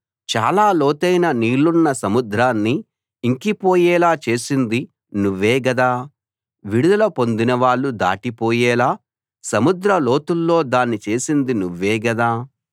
చాలా లోతైన నీళ్లున్న సముద్రాన్ని ఇంకిపోయేలా చేసింది నువ్వే గదా విడుదల పొందినవాళ్ళు దాటిపోయేలా సముద్ర లోతుల్లో దారి చేసింది నువ్వే గదా